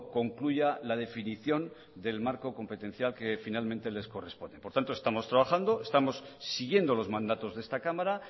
concluya la definición del marco competencial que finalmente les corresponde por tanto estamos trabajando estamos siguiendo los mandatos de esta cámara